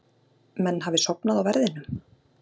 Menn hafi sofnað á verðinum?